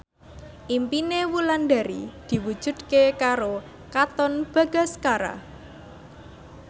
impine Wulandari diwujudke karo Katon Bagaskara